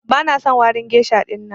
Bana son warin geisha ɗinnan.